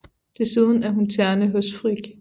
Desuden er hun terne hos Frigg